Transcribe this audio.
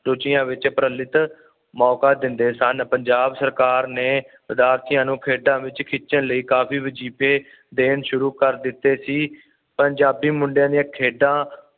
ਰੁਚੀਆਂ ਵਿੱਚ ਪ੍ਰਲਿਤ ਮੌਕਾ ਦਿੰਦੇ ਸਨ ਪੰਜਾਬ ਸਰਕਾਰ ਨੇ ਵਿਦਿਆਰਥੀਆਂ ਨੂੰ ਖੇਡਾਂ ਵਿੱਚ ਖਿੱਚਣ ਲਈ ਕਾਫੀ ਵਜ਼ੀਫੇ ਦੇਣ ਸ਼ੁਰੂ ਕਰ ਦਿੱਤੇ ਸੀ ਪੰਜਾਬੀ ਮੁੰਡਿਆਂ ਦੀਆਂ ਖੇਡਾਂ